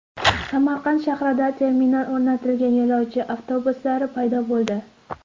Samarqand shahrida terminal o‘rnatilgan yo‘lovchi avtobuslari paydo bo‘ldi.